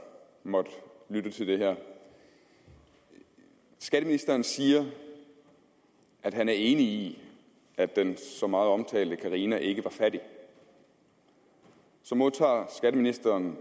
måtte lytte til det her skatteministeren siger at han er enig i at den så meget omtalte carina ikke er fattig så modtager skatteministeren